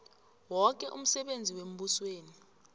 woke umsebenzi wembusweni